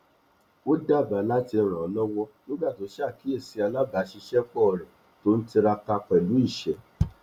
ó dábàá láti rànlọwọ nígbà tó sàkíyèsí alábàṣìṣépọ rẹ tó n tiraka pẹlú iṣẹ